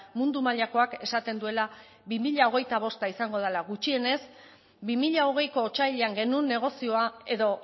mundu mailakoak esaten duela bi mila hogeita bost izango dela gutxienez bi mila hogeiko otsailean genuen negozioa edo